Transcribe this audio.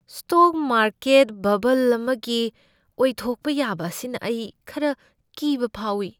Stock market ꯕꯕꯜ ꯑꯃꯒꯤ ꯑꯣꯏꯊꯣꯛꯄ ꯌꯥꯕ ꯑꯁꯤꯅ ꯑꯩ ꯈꯔ ꯀꯤꯕ ꯐꯥꯎꯏ꯫